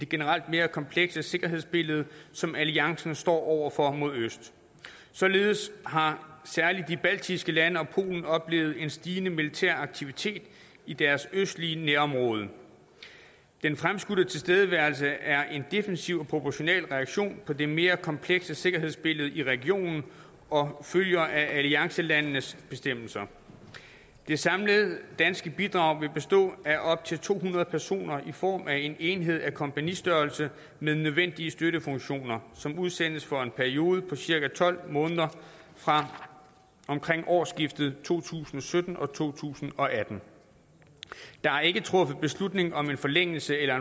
generelt mere komplekse sikkerhedsbillede som alliancen står over for mod øst således har særlig de baltiske lande og polen oplevet en stigende militær aktivitet i deres østlige nærområde den fremskudte tilstedeværelse er en defensiv og proportional reaktion på det mere komplekse sikkerhedsbillede i regionen og følger af alliancelandenes bestemmelser det samlede danske bidrag vil bestå af op til to hundrede personer i form af en enhed af kompagnistørrelse med nødvendige støttefunktioner som udsendes for en periode på cirka tolv måneder fra omkring årsskiftet to tusind og sytten og to tusind og atten der er ikke truffet beslutning om en forlængelse eller